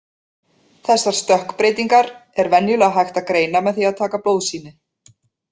Þessar stökkbreytingar er venjulega hægt að greina með því að taka blóðsýni.